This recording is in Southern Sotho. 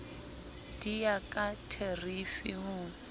di ya ka therifi ho